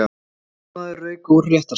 Lögmaður rauk úr réttarsal